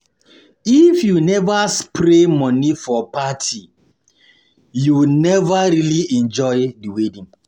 If you never spray money for party, you never really enjoy the wedding.